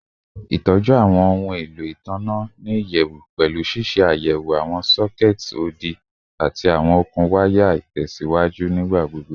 Itọju awọn ohun elo itanna ni iyẹwu pẹlu ṣiṣe ayẹwo awọn sockets odi ati awọn okun waya itẹsiwaju nigbagbogbo